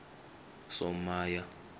somaya